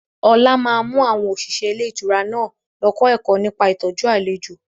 Ọlá máa mú àwọn òṣìṣẹ́ ilé ìtura náà lọ kọ́ ẹ̀kọ́ nípa ìtọ́jú àlejò